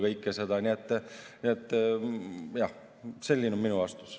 Nii et jah, selline on minu vastus.